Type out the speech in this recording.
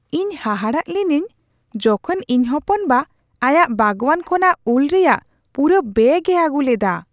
ᱤᱧ ᱦᱟᱦᱟᱲᱟᱜ ᱞᱤᱱᱟᱹᱧ ᱡᱚᱠᱷᱮᱡ ᱤᱧ ᱦᱚᱯᱚᱱ ᱵᱟ ᱟᱭᱟᱜ ᱵᱟᱜᱚᱣᱟᱱ ᱠᱷᱚᱱᱟᱜ ᱩᱞ ᱨᱮᱭᱟᱜ ᱯᱩᱨᱟᱹ ᱵᱮᱹᱜ ᱮ ᱟᱹᱜᱩ ᱞᱮᱫᱟ ᱾